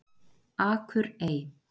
Akurey